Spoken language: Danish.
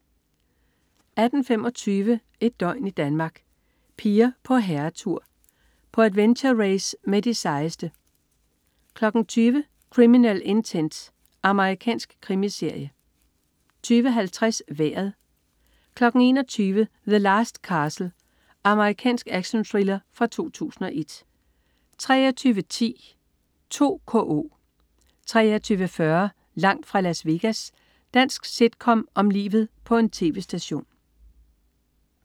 18.25 Et døgn i Danmark: Piger på herretur. På adventure-race med de sejeste 20.00 Criminal Intent. Amerikansk krimiserie 20.50 Vejret 21.00 The Last Castle. Amerikansk actionthriller fra 2001 23.10 2KO 23.40 Langt fra Las Vegas. Dansk sitcom om livet på en tv-station